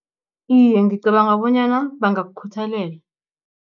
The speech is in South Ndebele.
Iye, ngicabanga bonyana bangakukhuthalela.